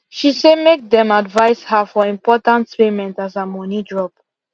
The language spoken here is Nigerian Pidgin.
she say make them them advice her for important payment as her money drop